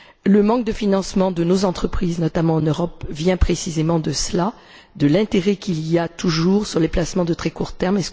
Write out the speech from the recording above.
Le manque de financement de nos entreprises, notamment en Europe, vient précisément de l'intérêt qu'il y a toujours sur les placements à très court terme.